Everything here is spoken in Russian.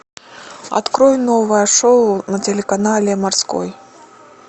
открой новое шоу на телеканале морской